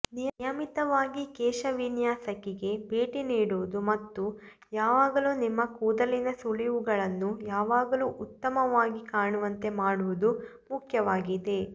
ನಿಯಮಿತವಾಗಿ ಕೇಶ ವಿನ್ಯಾಸಕಿಗೆ ಭೇಟಿ ನೀಡುವುದು ಮತ್ತು ಯಾವಾಗಲೂ ನಿಮ್ಮ ಕೂದಲಿನ ಸುಳಿವುಗಳನ್ನು ಯಾವಾಗಲೂ ಉತ್ತಮವಾಗಿ ಕಾಣುವಂತೆ ಮಾಡುವುದು ಮುಖ್ಯವಾಗಿದೆ